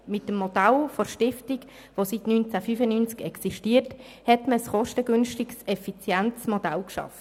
Mit dem Modell der Stiftung, welches seit 1995 existiert, hat man ein kostengünstiges, effizientes Modell geschaffen.